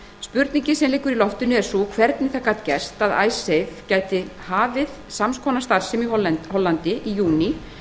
spurningin sem liggur í loftinu er sú hvernig það gat gerst að icesave gæti hafið sams konar starfsemi í útibúi landsbankans í hollandi